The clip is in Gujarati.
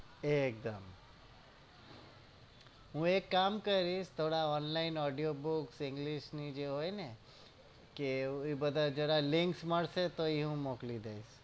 એક દમ હું એક કામ કરીશ થોડા online audio books english ની જે હોય ને કે એવા બધા links મળશે તો હું મોક્લી દઈશ